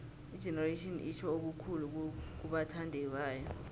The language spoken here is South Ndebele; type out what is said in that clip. igenerations itjho okukhulu kubathandibayo